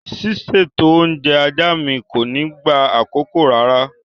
Ṣíṣètò oúnjẹ ajá mi kò ní gba àkókò rárá.